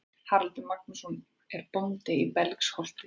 Haraldur Magnússon er bóndi í Belgsholti.